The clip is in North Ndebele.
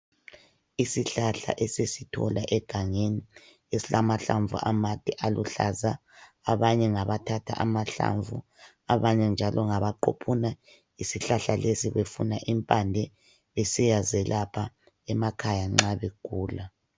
Isihlahla esisithola egangeni esilamahlamvu amade aluhlaza, abanye ngabathatha amahlamvu ,abanye njalo ngaba quphuna isihlahla lesi befuna impande besiyazelapha emakhaya nxa begula.